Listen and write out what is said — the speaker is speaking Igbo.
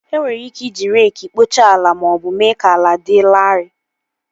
E nwere ike iji reekị kpochaa ala maọbụ mee ka ala dị larịị